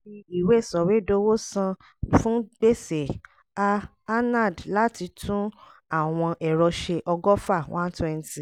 fi ìwé sọ̀wédowó san fún gbèsè a anand láti tún àwọn ẹ̀rọ ṣe ọgọ́fà one twenty